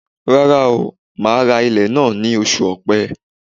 Rárá o, màá ra ilẹ̀ náà ní oṣù ọ̀pẹ.